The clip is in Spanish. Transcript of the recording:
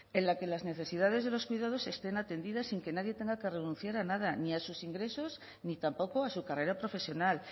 en la que las necesidades de los cuidados estén atendidas sin que nadie tenga que renunciar a nada ni a sus ingresos ni tampoco a su carrera profesional